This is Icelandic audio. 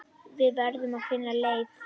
Við verðum að finna leið.